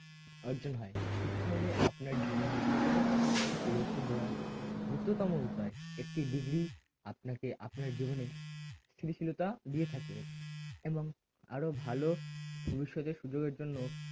অর্জন হয় শিক্ষা হলো আপনার জীবনেরএকটি কোন কিছু পরিবর্তন করার দ্রুততম উপায় একটি degree আপনাকে আপনার জীবনে স্থিতিশীলতা দিয়ে থাকে এবং আরো ভালো ভবিষ্যতে সুযোগের জন্য